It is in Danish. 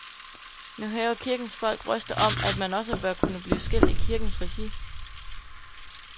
Nu hæver kirkens folk røster om, at man også bør kunne blive skilt i kirkens regi.